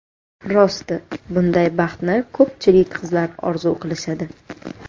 Rosti, bunday baxtni ko‘pchilik qizlar orzu qilishadi.